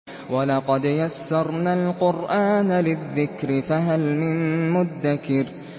وَلَقَدْ يَسَّرْنَا الْقُرْآنَ لِلذِّكْرِ فَهَلْ مِن مُّدَّكِرٍ